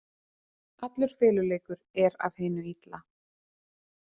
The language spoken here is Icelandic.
Allur feluleikur er af hinu illa.